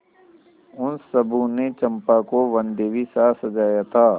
उन सबों ने चंपा को वनदेवीसा सजाया था